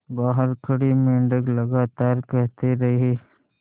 बाहर खड़े मेंढक लगातार कहते रहे